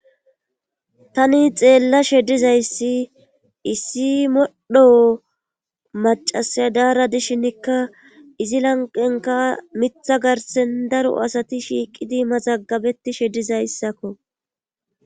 Tani xeella shedizayssi issi modho macasa daara dishinnikka izi lanqenka mitha garsen daro asati shiiqidi mazagabeti shedizayssakko.